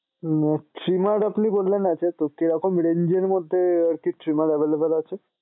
trimmer আপনি বললেন না সেহেতু কিরকম range এর মধ্যে আরকি trimmer available আছে?